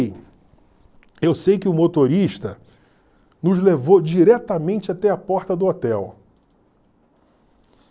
eu sei que o motorista nos levou diretamente até a porta do hotel.